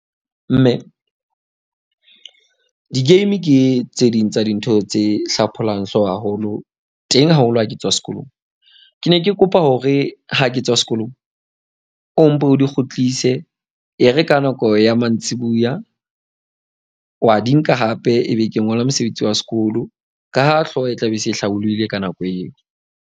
Mme di-game ke tse ding tsa dintho tse hlapholang hlooho haholo teng haholo, ha ke tswa sekolong. Ke ne ke kopa hore ha ke tswa sekolong o mpo o di kgutlise. E re ka nako ya mantsibuya wa di nka hape. Ebe ke ngola mosebetsi wa sekolo ka ha hlooho e tlabe e se e hlabollohile ka nako eo.